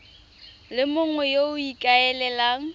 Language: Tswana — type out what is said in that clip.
le mongwe yo o ikaelelang